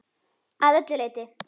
Að öllu leyti.